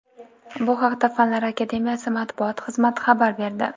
Bu haqda Fanlar Akademiyasi matbuot xizmati xabar berdi .